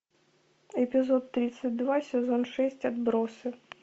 эпизод тридцать два сезон шесть отбросы